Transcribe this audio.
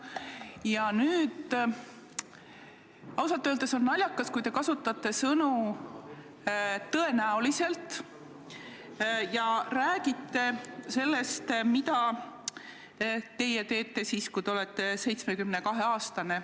Ja ausalt öeldes on naljakas, kui te kasutate sõna "tõenäoliselt" ja räägite sellest, mida te teete siis, kui olete 72-aastane.